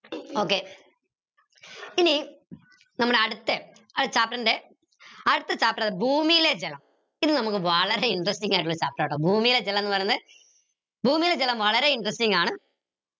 okay ഇനി നമ്മളെ അടുത്ത chapter ൻ്റെ അടുത്ത chapter ഭൂമിയിലെ ജലം ഇത് നമക്ക് വളരെ interesting ആയിട്ടുള്ള chapter ആട്ടോ ഭൂമിയിലെ ജലം ന്ന് പറയുന്നേ ഭൂമിയിലെ ജലം വളരെ interesting ആണ്